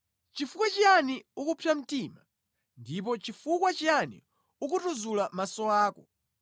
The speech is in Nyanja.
Chifukwa chiyani ukupsa mtima, ndipo chifukwa chiyani ukutuzula maso ako,